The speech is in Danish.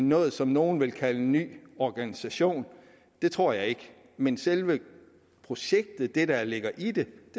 noget som nogle vil kalde en ny organisation det tror jeg ikke men selve projektet det der ligger i det